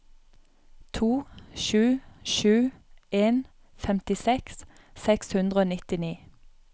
to sju sju en femtiseks seks hundre og nittini